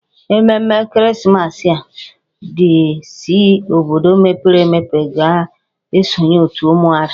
Ememme ekeresimesi a, ndị si obodo mepere emepe ga-esonye otù ụmụada